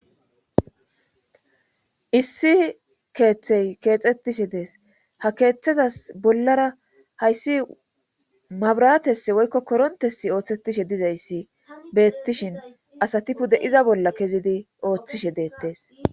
issi keeththey keexxettishe dees ha keeththezas bollara hayssi mabratess woykko korontesi ooththetishe dizayssi beettishin asatipude iza bolla kezidi ooththishe deettees